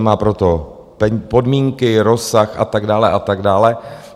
Mají pro to podmínky, rozsah a tak dále a tak dále.